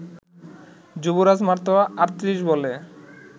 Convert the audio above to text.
যুবরাজ মাত্র ৩৮ বলে